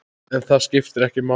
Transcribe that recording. En það skiptir ekki máli.